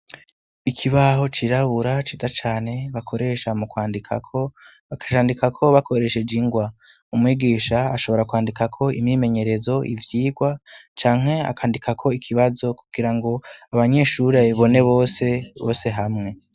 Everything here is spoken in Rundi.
Ikibaho c'irabura ciza cane bakoresha mu kwandikako. Bakacandikako bakoresheje ingwa. Umwigisha ashobora kwandikako imyimenyerezo, ivyigwa canke akandikako ikibazo kugira ngo abanyeshure babibone bose, bose hamwe.